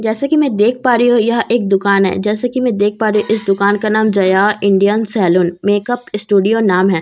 जैसे कि मैं देख पा रही हूं यह एक दुकान है जैसे कि मैं देख पा रही हूं इस दुकान का नाम Jaya Indian salon makeup studio नाम है जैसे कि मैं देख--